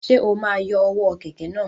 Ṣe o ma yọ ọwọ kẹkẹ náà?